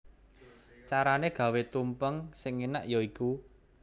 Carané gawé tumpeng sing énak ya iku